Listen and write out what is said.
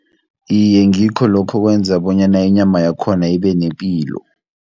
Iye, ngikho lokho okwenza, bonyana inyama yakhona ibe nepilo.